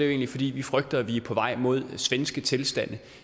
egentlig fordi vi frygter at vi er på vej mod svenske tilstande